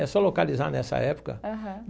É só localizar nessa época. Aham.